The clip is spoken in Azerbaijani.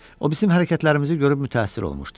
O bizim hərəkətlərimizi görüb mütəəssir olmuşdu.